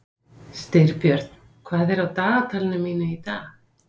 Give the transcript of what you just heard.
Styrbjörn, hvað er á dagatalinu mínu í dag?